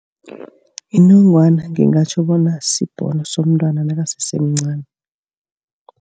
Inongwana ngingatjho bona sibhono somntwana nakasesemncani.